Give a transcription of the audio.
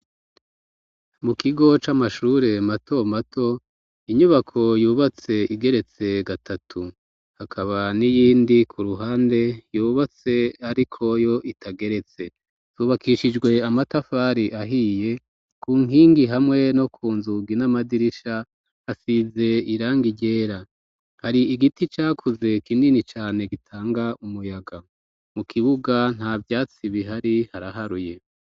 Mu kigo, c'amashure mato mato, inyubako, yubatse igeretse gatatu; hakaba n'iyindi, ku ruhande, yubatse, ariko yo, itageretse; zubakishijwe amatafari, ahiye; ku nkingi, hamwe no ku nzugi, n'amadirisha, hasize irangi ryera; hari igiti cakuze, kinini cane, gitanga umuyaga; mu kibuga, nta vyatsi bihari, haraharuye.